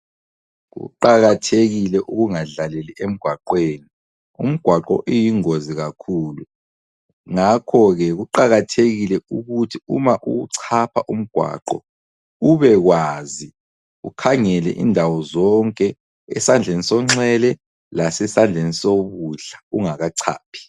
Kuqakathekile ukungadlaleli emgwaqweni. Umgwaqo iyingozi kakhulu, ngakho ke kuqakathekile ukuthi uma uwuchapha umgwaqo ,ubekwazi ukhangele indawo zonke, esandleni sonxele lasesandleni sokudla, ungakachaphi.